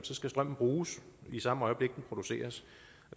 skal strømmen bruges i samme øjeblik den produceres